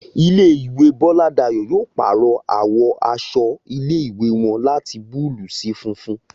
Ilé ìwé Bọ́ládayọ̀ yóò pàrọ̀ àwọ̀ aṣọ ilé ìwé wọn láti búlúù sí funfun